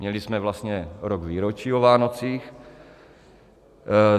Měli jsme vlastně rok výročí o Vánocích.